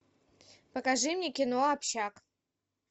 покажи мне кино общак